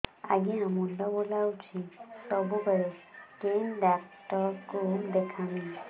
ଆଜ୍ଞା ମୁଣ୍ଡ ବୁଲାଉଛି ସବୁବେଳେ କେ ଡାକ୍ତର କୁ ଦେଖାମି